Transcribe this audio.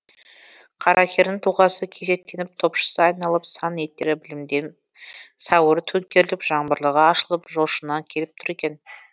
қаракердің тұлғасы кесектеніп топшысы айналып сан еттері білемденіп сауыры төңкеріліп жаңбырлығы ашылып жошына келіп тұр екен